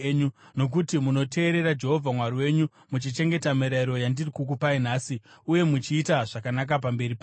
nokuti munoteerera Jehovha Mwari wenyu, muchichengeta mirayiro yandiri kukupai nhasi uye muchiita zvakanaka pamberi pake.